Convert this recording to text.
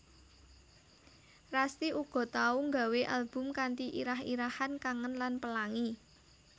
Rasti uga tau nggawé album kanthi irah irahan Kangen lan Pelangi